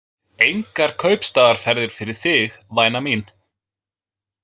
Engar kaupstaðaferðir fyrir þig, væna mín.